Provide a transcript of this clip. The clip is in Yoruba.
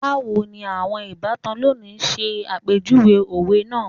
Bawo ni awọn ibatan loni ṣe apejuwe owe naa